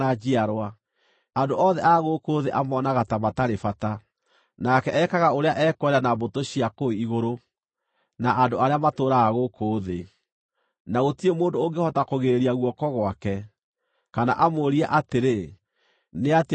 Andũ othe a gũkũ thĩ amonaga ta matarĩ bata. Nake ekaga ũrĩa ekwenda na mbũtũ cia kũu igũrũ, na andũ arĩa matũũraga gũkũ thĩ. Na gũtirĩ mũndũ ũngĩhota kũgirĩrĩria guoko gwake, kana amũũrie atĩrĩ: “Nĩatĩa ũguo weka?”